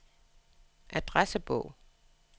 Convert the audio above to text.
adressebog